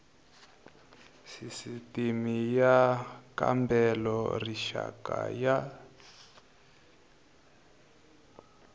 sisitimi y kambela rixaka ya